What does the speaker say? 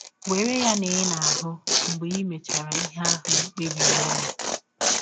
Were ya na ị na - ahụ mgbe i mechara ihe ahụ i kpebiri ime.